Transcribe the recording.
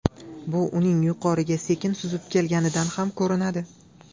Bu uning yuqoriga sekin suzib kelganidan ham ko‘rinadi.